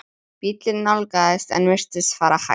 Bíllinn nálgaðist en virtist fara hægt.